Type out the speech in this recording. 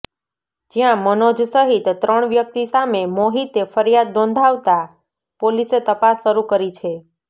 જ્યાં મનોજ સહિત ત્રણ વ્યક્તિ સામે મોહિતે ફરિયાદ નોંધાવતા પોલીસે તપાસ શરૂ કરી છે